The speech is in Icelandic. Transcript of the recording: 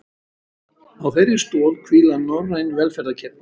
Á þeirri stoð hvíla norræn velferðarkerfi